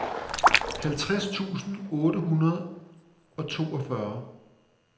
halvtreds tusind otte hundrede og toogfyrre